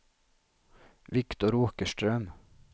Viktor Åkerström